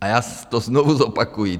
A já to znovu zopakuji.